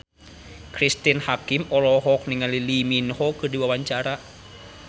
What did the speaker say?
Cristine Hakim olohok ningali Lee Min Ho keur diwawancara